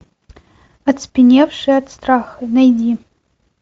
оцепеневшие от страха найди